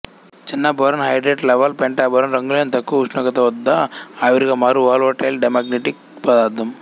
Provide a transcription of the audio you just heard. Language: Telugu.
చిన్న బోరోన్ హైడ్రేట్ లవలె పెంటాబోరాన్ రంగులేని తక్కువ ఉష్ణోగ్రత వద్ద ఆవిరిగా మారు వోలటైల్ డైమాగ్నెటిక్ పదార్థం